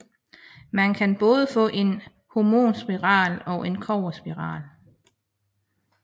Man kan både få en hormonspiral og en kobberspiral